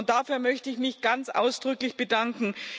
Dafür möchte ich mich ganz ausdrücklich bedanken!